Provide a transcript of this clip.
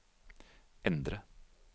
endre